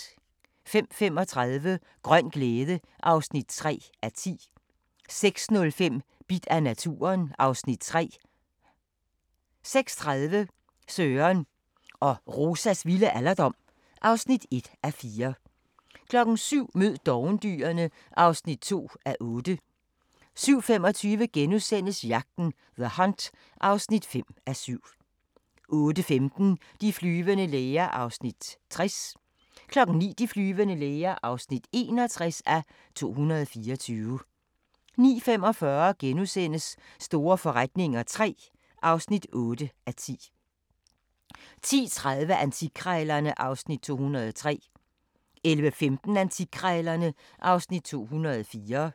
05:35: Grøn glæde (3:10) 06:05: Bidt af naturen (Afs. 3) 06:30: Søren og Rosas vilde alderdom (1:4) 07:00: Mød dovendyrene (2:8) 07:25: Jagten – The Hunt (5:7)* 08:15: De flyvende læger (60:224) 09:00: De flyvende læger (61:224) 09:45: Store forretninger III (8:10)* 10:30: Antikkrejlerne (Afs. 203) 11:15: Antikkrejlerne (Afs. 204)